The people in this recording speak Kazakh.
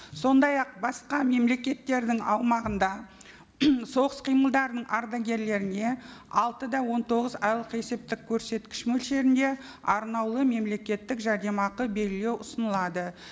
сондай ақ басқа мемлекеттердің аумағында соғыс қимылдарының ардагердеріне алты да он тоғыз айлық есептік көрсеткіш мөлшерінде арнаулы мемлекеттік жәрдемақы белгілеу ұсынылады